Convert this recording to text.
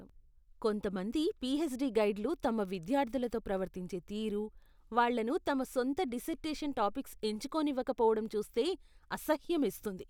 కొంతమంది పీహెచ్డీ గైడ్లు తమ విద్యార్థులతో ప్రవర్తించే తీరు, వాళ్ళను తమ సొంత డిసెర్టేషన్ టాపిక్స్ ఎంచుకోనివ్వకపోవడం చూస్తే అసహ్యమేస్తుంది.